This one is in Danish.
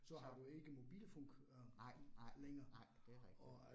Så. Nej nej nej, det rigtigt